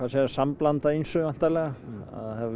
er sambland af ýmsu væntanlega það hafa